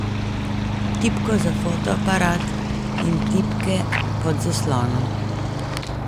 Tipko za fotoaparat in tipke pod zaslonom.